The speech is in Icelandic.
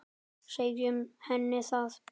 Segjum henni það.